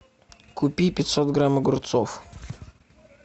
купи пятьсот грамм огурцов